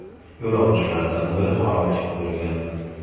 Yo‘lovchilardan biri halok bo‘lgan.